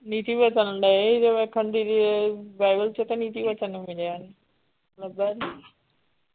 ਨੀਤੀ ਬੱਚਨ ਡਏ ਸੀ ਵੇਖਣ ਦੀਦੀ ਬਾਈਬਲ ਚ ਤੇ ਨੀਤੀ ਬੱਚਨ ਮਿਲਿਆ ਨਹੀਂ, ਲੱਭਾ ਨਹੀਂ।